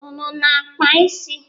Unu ana-akpa isi?